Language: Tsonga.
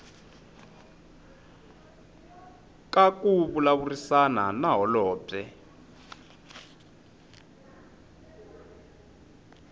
ka ku vulavurisana na holobye